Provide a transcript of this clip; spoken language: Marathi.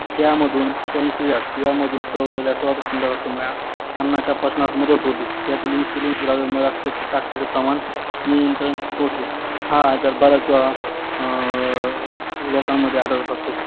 या मधून स्वरलेल्या स्वादुपिंडाला अन्नाच्या पचनात मदत होते त्या तिल इन्सुलिन द्रावमय साखरेचे प्रमाण नियंत्रण होते हा आजार बरेच वेळा अं लोकांमध्ये आळडत असतो